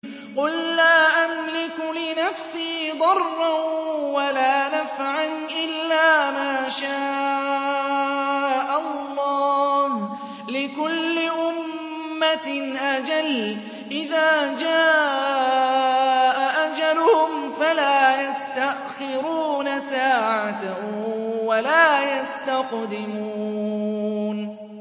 قُل لَّا أَمْلِكُ لِنَفْسِي ضَرًّا وَلَا نَفْعًا إِلَّا مَا شَاءَ اللَّهُ ۗ لِكُلِّ أُمَّةٍ أَجَلٌ ۚ إِذَا جَاءَ أَجَلُهُمْ فَلَا يَسْتَأْخِرُونَ سَاعَةً ۖ وَلَا يَسْتَقْدِمُونَ